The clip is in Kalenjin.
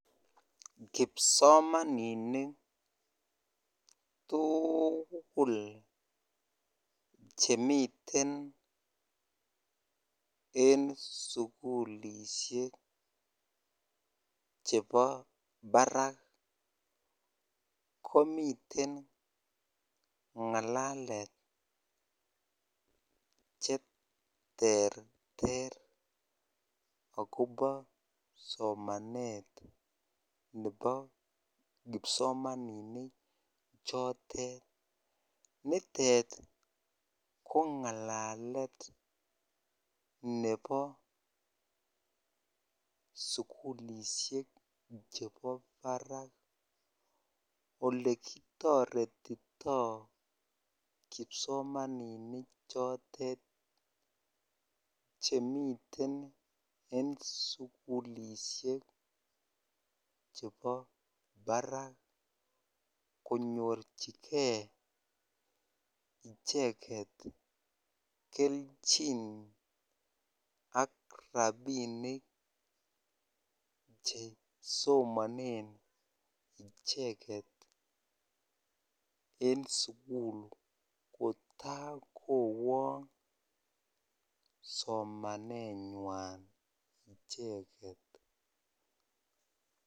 Kipsomaninik tukul chemiten en sukulishek chebo barak komiten ngalalet cheterter ak kobo somanet nebo kipsomaninik chotet, nitet ko ngalalet nebo sukulishek chebo barak olekitoretito kipsomaninik chotet chemiten en sukulishek chebo barak konyorchike icheket kelchin ak rabinik chesomonen icheket en sukul kotakowong somanenwan icheket.